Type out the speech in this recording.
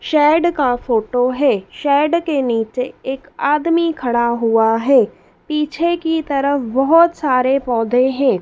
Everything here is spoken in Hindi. शैड का फोटो है शैड के नीचे एक आदमी खड़ा हुआ है पीछे की तरफ बहोत सारे पौधे हैं।